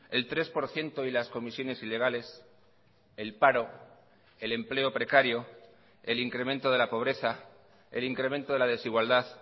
el tres por ciento y las comisiones ilegales el paro el empleo precario el incremento de la pobreza el incremento de la desigualdad